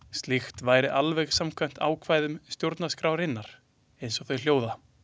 Slíkt væri alveg samkvæmt ákvæðum stjórnarskrárinnar, eins og þau hljóða.